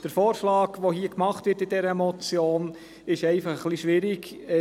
Der Vorschlag aber, der in dieser Motion gemacht wird, ist ein wenig schwierig.